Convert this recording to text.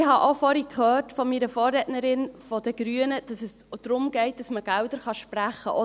Ich habe auch vorhin von meiner Vorrednerin der Grünen gehört, dass es darum geht, dass man Gelder sprechen kann.